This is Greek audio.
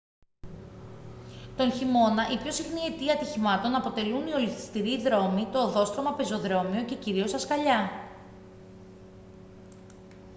τον χειμώνα η πιο συχνή αιτία ατυχημάτων αποτελούν οι ολισθηροί δρόμοι το οδόστρωμα πεζοδρόμιο και κυρίως τα σκαλιά